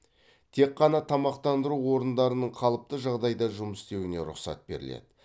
тек қана тамақтандыру орындарының қалыпты жағдайда жұмыс істеуіне рұқсат беріледі